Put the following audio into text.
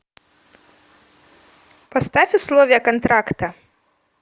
поставь условия контракта